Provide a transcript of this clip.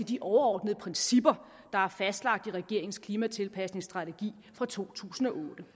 de overordnede principper der er fastlagt i regeringens klimatilpasningsstrategi fra to tusind og otte